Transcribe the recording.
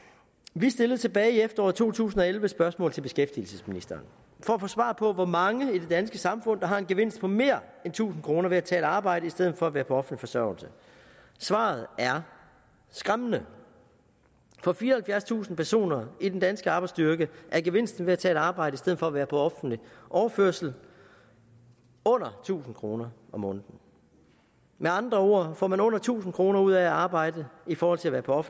vi stillede tilbage i efteråret to tusind og elleve et spørgsmål til beskæftigelsesministeren for at få svar på hvor mange i det danske samfund der har en gevinst på mere end tusind kroner ved at tage et arbejde i stedet for at være på offentlig forsørgelse svaret er skræmmende for fireoghalvfjerdstusind personer i den danske arbejdsstyrke er gevinsten ved at tage et arbejde i stedet for at være på offentlig overførsel under tusind kroner om måneden med andre ord får man under tusind kroner ud af at arbejde i forhold til at være på